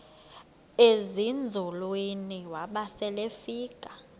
ezinzulwini waba selefika